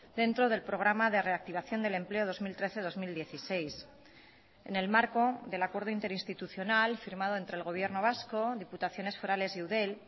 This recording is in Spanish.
dentro del programa de reactivación del empleo dos mil trece dos mil dieciséis en el marco del acuerdo interinstitucional firmado entre el gobierno vasco diputaciones forales y eudel